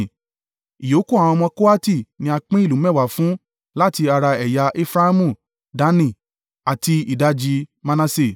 Ìyókù àwọn ọmọ Kohati ni a pín ìlú mẹ́wàá fún láti ara ẹ̀yà Efraimu, Dani àti ìdajì Manase.